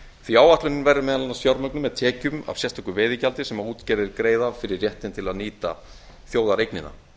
því að áætlunin verður meðal annars fjármögnuð með tekjum af sérstöku veiðigjaldi sem útgerðir greiða fyrir réttinn til að nýta þjóðareignina